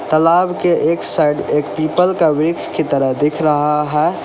तालाब के एक साइड एक पीपल का वृक्ष की तरह दिख रहा है।